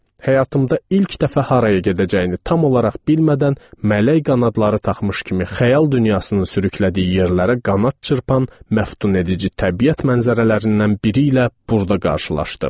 Həyatımda ilk dəfə haraya gedəcəyini tam olaraq bilmədən mələk qanadları taxmış kimi xəyal dünyasının sürüklədiyi yerlərə qanad çırpan məftun edici təbiət mənzərələrindən biri ilə burda qarşılaşdım.